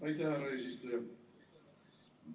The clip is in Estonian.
Aitäh, härra eesistuja!